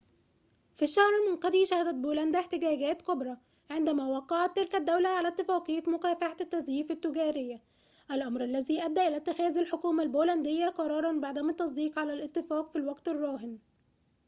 في الشهر المنقضي شهدت بولندا احتجاجات كبرى عندما وقعت تلك الدولة على اتفاقية مكافحة التزييف التجارية الأمر الذي أدى إلى اتخاذ الحكومة البولندية قراراً بعدم التصديق على الاتفاق في الوقت الراهن